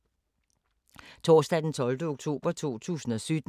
Torsdag d. 12. oktober 2017